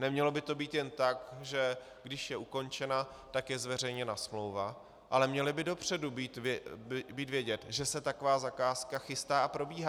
Nemělo by to být jen tak, že když je ukončena, tak je zveřejněna smlouva, ale mělo by dopředu být vědět, že se taková zakázka chystá a probíhá.